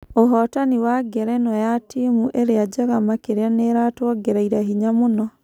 "ũhotani wa ngerenwa ya timu ĩrĩa njega makĩria nĩĩratuongereire hinya mũno.